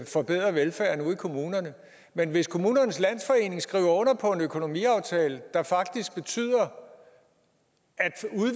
forbedre velfærden ude i kommunerne men hvis kommunernes landsforening skriver under på en økonomiaftale der faktisk betyder at